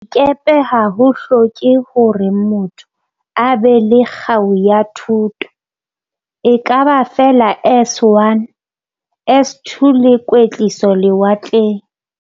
Dikepe ha ho hloke hore motho a be le kgau ya thuto, ekaba feela S1, S2 le kwetliso lewatleng.